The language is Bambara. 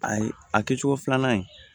Ayi a kɛcogo filanan in